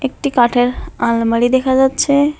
একটি কাঠের আলমারি দেখা যাচ্ছে।